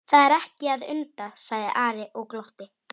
Það er ekki að undra, sagði Ari og glotti.